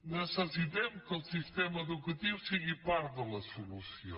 necessitem que el sistema educatiu sigui part de la solució